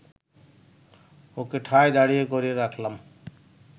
ওকে ঠায় দাঁড় করিয়ে রাখলাম